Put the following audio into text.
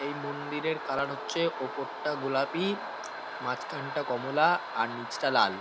এই মন্দিরের কালার হচ্ছে ওপরটা গোলাপি মাঝখানটা কমলা আর নিচটা লাল।